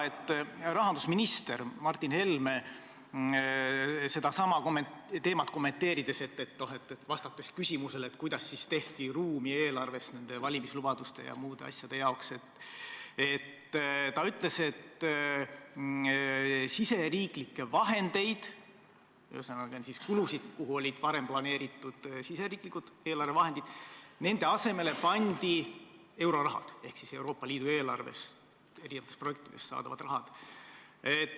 Rahandusminister Martin Helme ütles sedasama teemat kommenteerides ja vastates küsimusele, kuidas tehti eelarves ruumi valimislubaduste täitmise ja muude asjade jaoks, et riigisiseste vahendite asemele, ühesõnaga, kulutuste asemele, milleks olid varem planeeritud riigisisesed eelarvevahendid, pandi euroraha ehk Euroopa Liidu eelarvest eri projektidest saadav raha.